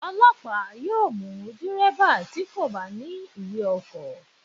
Ọlọ́pàá yóò mú Dẹ̀rẹ́bà tí kò bá ní ìwé ọkọ̀.